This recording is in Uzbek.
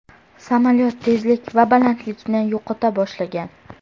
Samolyot tezlik va balandlikni yo‘qota boshlagan.